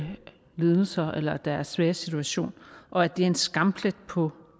lidelser eller deres svære situation og at det er en skamplet på